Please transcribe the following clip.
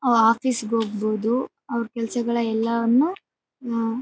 office ಗೆ ಹೋಗ್ಬಹುದು ಅವರ ಕೆಲ್ಸಗಳ ಎಲ್ಲವನ್ನು ಆಹ್ಹ್--